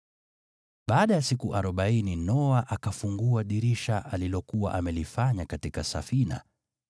Baada ya siku arobaini Noa akafungua dirisha alilokuwa amelifanya katika safina